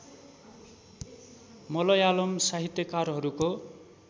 मलयालम साहित्यकारहरूको